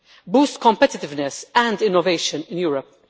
boost competitiveness and innovation in Europe.